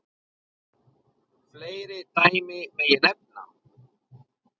Fleiri dæmi megi nefna.